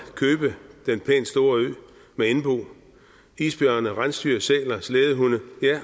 købe den pænt store ø med indbo isbjørne rensdyr sæler slædehunde